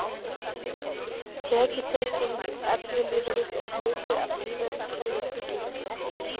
Tekjutenging ellilífeyris er hluti af lífeyriskerfi Tryggingarstofnunar.